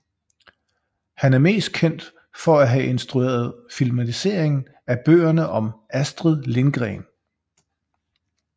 Han er mest kendt for at have instrueret filmatiseringen af bøgerne om Astrid Lindgren